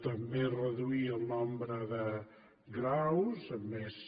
també reduir el nombre de graus amb més